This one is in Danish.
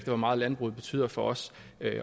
hvor meget landbruget betyder for os